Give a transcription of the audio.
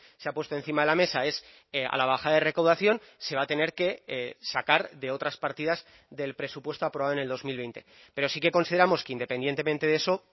se ha puesto encima de la mesa es a la bajada de recaudación se va a tener que sacar de otras partidas del presupuesto aprobado en el dos mil veinte pero sí que consideramos que independientemente de eso